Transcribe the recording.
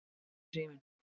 Þá hringdi síminn.